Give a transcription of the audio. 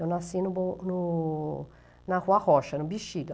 Eu nasci no no na Rua Rocha, no Bixiga.